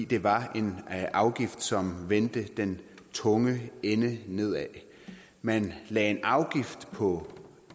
det var en afgift som vendte den tunge ende nedad man lagde en afgift på